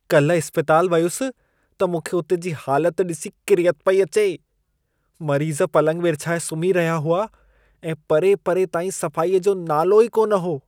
काल्ह इस्पतालि वियुसि त मूंखे उते जी हालत ॾिसी किरियत पई अचे। मरीज़ पलंग विर्छाए सुम्ही रहिया हुआ ऐं परे-परे ताईं सफ़ाईअ जो नालो ई कोन हो।